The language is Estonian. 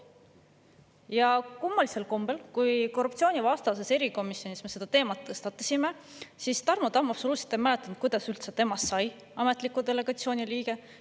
Ja kui me korruptsioonivastases erikomisjonis selle teema tõstatasime, siis kummalisel kombel Tarmo Tamm absoluutselt ei mäletanud, kuidas temast üldse sai ametliku delegatsiooni liige.